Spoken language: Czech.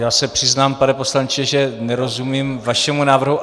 Já se přiznám, pane poslanče, že nerozumím vašemu návrhu.